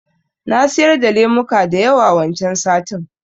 Na siyar da lemuka da yawa wancan satin